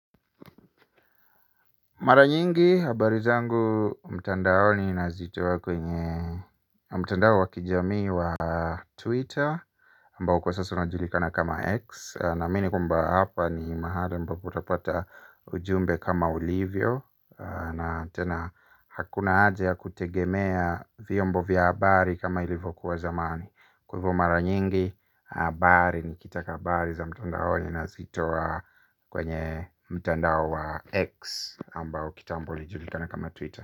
Mara nyingi habari zangu mtandaoni nazitoa kwenye mtandao wa kijamii wa twitter ambao kwa sasa unajulikana kama x naamini kwamba hapa ni mahali ambapo utapata ujumbe kama ulivyo. Na tena hakuna haja ya kutegemea vyombo vya habari kama ilivyokuwa zamani kwa hivyo mara nyingi habari nikitaka habari za mtandaoni nazitoa kwenye mtandao wa x ambao kitambo ulijulikana kama Twitter.